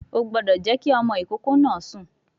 O gbọ́dọ̀ jẹ́ kí ọmọ ìkókó náà sùn